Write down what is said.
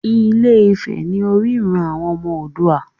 Ilé-ifè ní orírun àwọn ọmọ Oòduà.